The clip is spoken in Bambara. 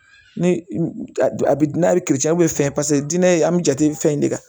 Ni fɛn paseke dinɛ an mi jate fɛn in de kan